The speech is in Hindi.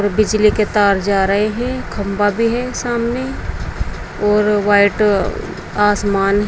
बिजली के तार जा रहे हैं खंबा भी है सामने और व्हाइट आसमान है।